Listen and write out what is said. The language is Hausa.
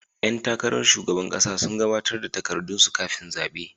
Yan takarar shugaban kasa sun gabatar da takardunsu kafin zabe.